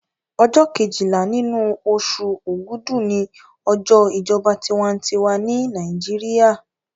Ọjọ́ kejìlá nínú oṣù ògúdù ni ọjọ́ ìjọba tinwatinwa ní Nàìjíríà